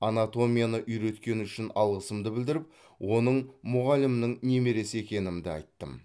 анатомияны үйреткені үшін алғысымды білдіріп оның мұғалімінің немересі екенімді айттым